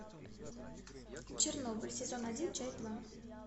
чернобыль сезон один часть два